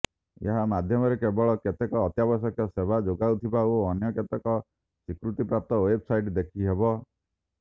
ଏହା ମାଧ୍ୟମରେ କେବଳ କେତେକ ଅତ୍ୟାବଶ୍ୟକ ସେବା ଯୋଗାଉଥିବା ଓ ଅନ୍ୟ କେତେକ ସ୍ୱୀକୃତିପ୍ରାପ୍ତ େଓ୍ବବସାଇଟ ଦେଖିହେବ